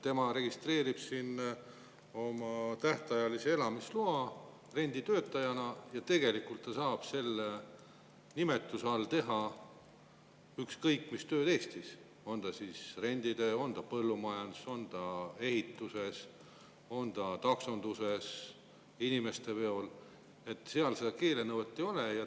Tema registreerib siin oma tähtajalise elamisloa renditöötajana ja tegelikult ta saab selle nimetuse all teha ükskõik mis tööd Eestis, on see renditöö, on see põllumajanduses, on see ehituses, on see taksonduses inimeste veol, seal seda keelenõuet ei ole.